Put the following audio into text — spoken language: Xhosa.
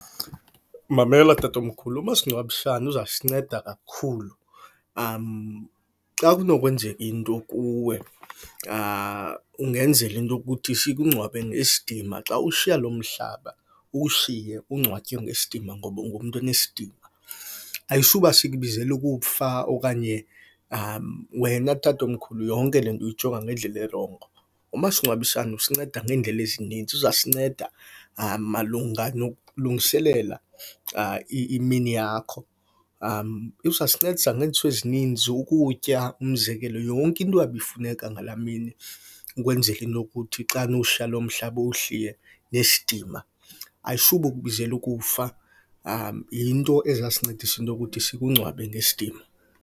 Mamela tatomkhulu, umasingcwabisane uzasinceda kakhulu. Xa kunokwenzeka into kuwe kungenzela into yokuthi sikungcwabe ngesidima. Xa ushiya lo mhlaba, uwushiye ungcwatywe ngesidima ngoba ungumntu onesidima. Ayisuba sikubizela ukufa okanye, wena tatomkhulu yonke le nto uyijonga ngendlela erongo. Umasingcwabisane usinceda ngeendlela ezininzi. Uzasinceda malunga nokulungiselela imini yakho. Uzasincedisa ngeento ezininzi, ukutya umzekelo, yonke into eyabe ifuneka ngala mini ukwenzela into yokuthi xana uwushiya lo mhlaba, uwushiye nesidima. Ayisube ukubizela ukufa, yinto ezasincedisa into yokuthi sikungcwabe ngesidima.